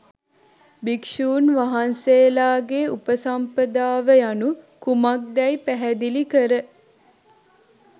භික්ෂූන් වහන්සේලාගේ උපසම්පදාව යනු කුමක්දැයි පැහැදිලි කර